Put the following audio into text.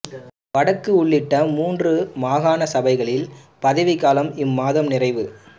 வடக்கு உள்ளிட்ட மூன்று மாகாண சபைகளின் பதவிக் காலம் இம்மாதம் நிறைவு